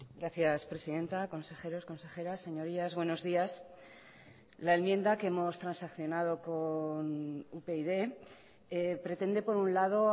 gracias presidenta consejeros consejeras señorías buenos días la enmienda que hemos transaccionado con upyd pretende por un lado